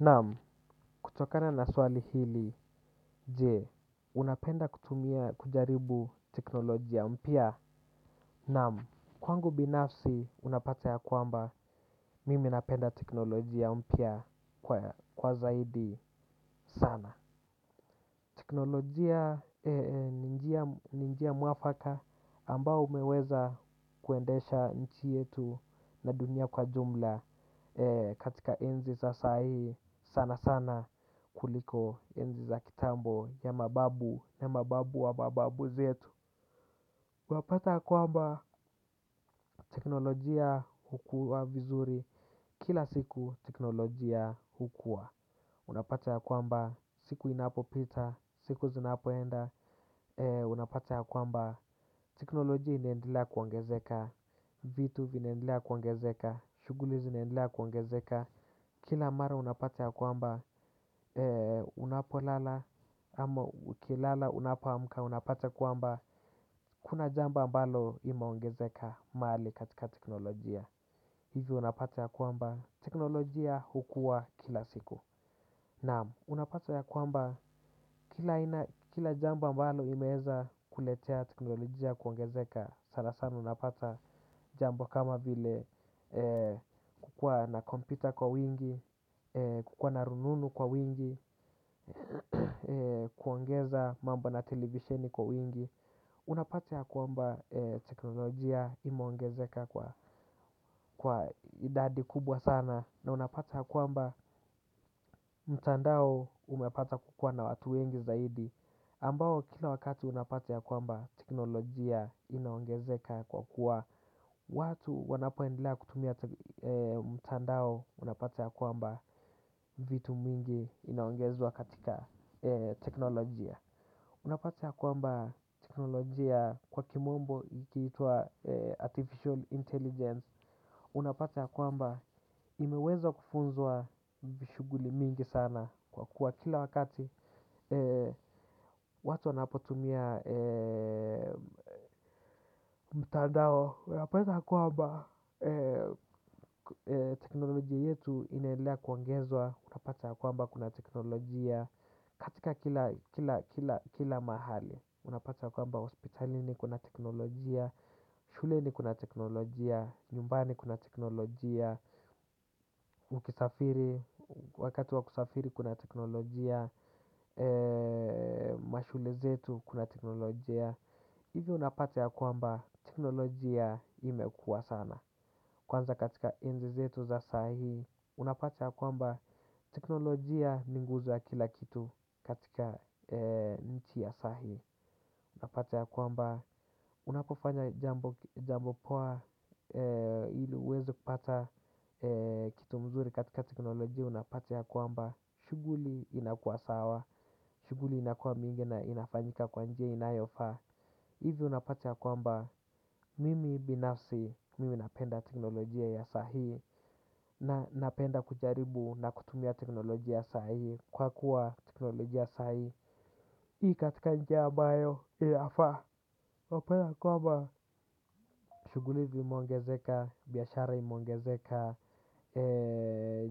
Naam, kutokana na swali hili, jee, unapenda kutumia kujaribu teknolojia mpya? Naam. Kwangu binafsi, unapata yakwamba, mimi napenda teknolojia mpya kwa zaidi sana. Teknolojia ni njia mwafaka ambao umeweza kuendesha nchi yetu na dunia kwa jumla. Katika enzi za sahii sana sana kuliko enzi za kitambo ya mababu na mababu wa mababu zetu. Wapata yakwamba teknolojia hukua vizuri kila siku teknolojia hukua. Unapata yakwamba siku inapopita siku zinapoenda. Unapata ya kwamba teknolojia inaendelea kuongezeka. Vitu vinaendelea kuongezeka. Shughuli zinaendelea kuongezeka. Kila mara unapata yakwamba unapolala ama ukilala unapoamka unapata kwamba kuna jambo ambalo limeongezeka mahali katika teknolojia. Hivyo unapata yakwamba teknolojia hukua kila siku, naam. Unapata yakwamba kila jambo ambalo limeweza kuletea teknolojia kuongezeka sana sana unapata jambo kama vile kukuwa na kompyuta kwa wingi, kukuwa na rununu kwa wingi, kuongeza mambo na televisheni kwa wingi. Unapata yakwamba teknolojia imeongezeka kwa idadi kubwa sana na unapata yakwamba mtandao umepata kukuwa na watu wengi zaidi ambao kila wakati unapata yakwamba teknolojia inaongezeka kwa kuwa watu wanapoendelea kutumia mtandao unapata yakwamba vitu mingi inaongezwa katika teknolojia. Unapata yakwamba teknolojia kwa kimombo ikitwa Artificial Intelligence. Unapata yakwamba imeweza kufunzwa shughuli mingi sana. Kwa kuwa kila wakati watu wanapotumia mtandao unapata yakwamba teknolojia yetu inaendelea kuongezwa unapata yakwamba kuna teknolojia katika kila mahali, unapati yakwamba hospitalini kuna teknolojia, shuleni kuna teknolojia, nyumbani kuna teknolojia, wakati wakusafiri kuna teknolojia, mashule zetu kuna teknolojia. Hivyo unapata yakwamba teknolojia imekua sana. Kwanza katika enzi zetu za sahii unapata yakwamba teknolojia inaguza kila kitu katika nchi ya sahii. Unapata yakwamba unapofanya jambo poa ili uweze kupata kitu mzuri katika teknolojia unapata yakwamba shughuli inakuwa sawa. Shughuli inakuwa mingi na inafanyika kwa njia inayofaa. Hivyo unapata yakwamba mimi binafsi mimi napenda teknolojia ya sahii na napenda kujaribu na kutumia teknolojia ya sahii kwa kuwa teknolojia ya sahii iko katika njia ambayo inafaa. Unapata ya kwamba shughuli zimeongezeka biashara imeongezeka